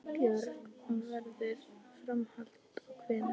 Björn: Og verður framhald þá hvenær?